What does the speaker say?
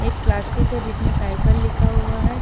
Plastic है जिसमें cycle लिखा हुआ है।